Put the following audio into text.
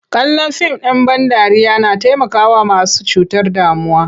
Kallon fim ɗ in ban dariya na taimakawa masu cutar damuwa.